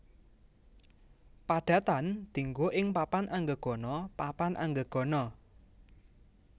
Padatan diènggo ing papan anggegana papan anggegana